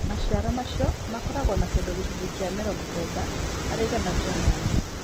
Maciaro macio makoragwo na kĩndũ gĩcunjĩ kĩa 90 harĩ igana kĩa maĩ.